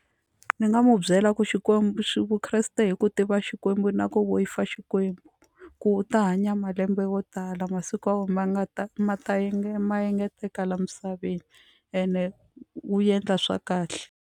Ni nga mu byela ku Xikwembu xi vukreste hi ku tiva xikwembu na ku Xikwembu ku u ta hanya malembe wo tala masiku ya wena ma nga ta ma ta ma engeteleka la misaveni ene wu endla swa kahle.